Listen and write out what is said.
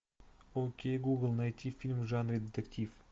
окей гугл найти фильм в жанре детектив